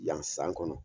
Yan san kɔnɔ